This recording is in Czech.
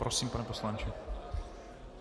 Prosím, pane poslanče.